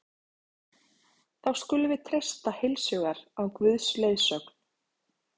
Þá skulum við treysta heilshugar á Guðs leiðsögn.